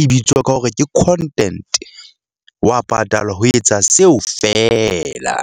e bitswa ka hore ke content wa patalwa ho etsa seo fela.